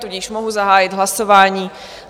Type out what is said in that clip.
Tudíž mohu zahájit hlasovat.